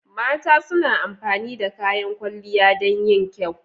Mata suna amfani da kayan kwalliya dan yin kyau.